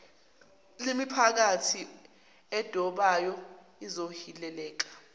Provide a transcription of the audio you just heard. lemiphakathi edobayo ezohileleka